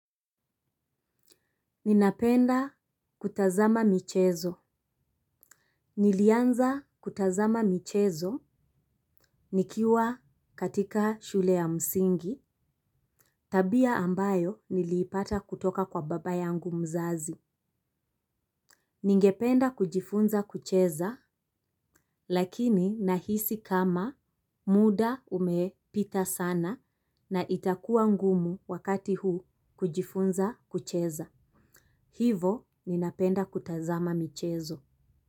Ninapenda kutazama michezo. Nilianza kutazama michezo nikiwa katika shule ya msingi. Tabia ambayo niliipata kutoka kwa baba yangu mzazi. Ningependa kujifunza kucheza lakini nahisi kama muda umepita sana na itakuwa ngumu wakati huu kujifunza kucheza. Hivo ninapenda kutazama michezo.